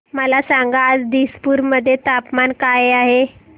मला सांगा आज दिसपूर मध्ये तापमान काय आहे